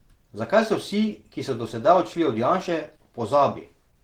Zakaj so vsi, ki so do sedaj odšli od Janše, v pozabi?